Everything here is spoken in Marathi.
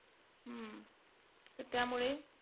हम्म तर त्यामुळे,